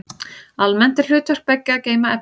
Almennt er hlutverk beggja að geyma efni.